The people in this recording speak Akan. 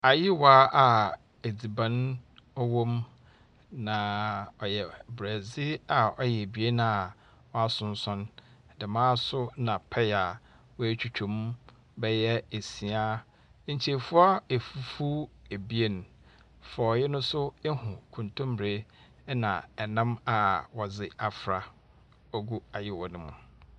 Ayowa a edziban wɔ mu. Na ɔyɛ Brɛdze a ɔyɛ ebien a ɔasonsɔn. Dɛm ara nso na paya a woetwitwa mu bɛyɛ esia. Nkyefua fufuw ebien, forɔe no nso ihu nkontombire na nam a wɔdze afra. Ogu ayoma no mu.